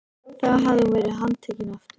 Þá hefði hún verið handtekin aftur.